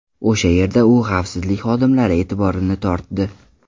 O‘sha yerda u xavfsizlik xodimlari e’tiborini tortdi.